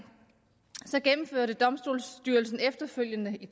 gennemførte domstolsstyrelsen efterfølgende i